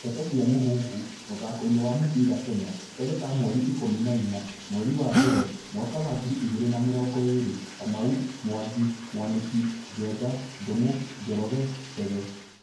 Ndeto cia Mũhuhu, mũthakoini wa mũbĩra Kenya, Keri ka mweri ikũmi inya ,mweri wa mbere, mwaka wa ngiri igĩrĩ na mĩrongo ĩrĩ :Kamau, Mwangi, Mwaniki, Njenga, Ndungu, Njoroge, Chege